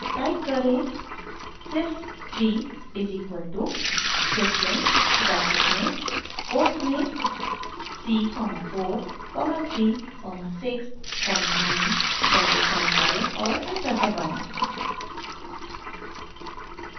type करें sys 3 is equal to syslin bracket में quotes में c comma 4 comma 3 comma 6 comma 9 bracket बंद करें और एंटर दबाएं